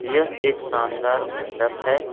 यह एक शानदार मंडप है।